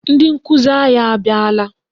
Ndị nkụzi anyị abịala.